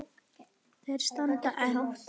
Þeir standa enn.